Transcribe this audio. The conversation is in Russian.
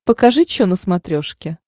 покажи че на смотрешке